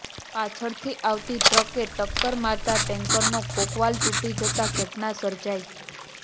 પાછળથી આવતી ટ્રકે ટક્કર મારતા ટેન્કરનો કોકવાલ ટૂટી જતાં ઘટના સર્જાઈ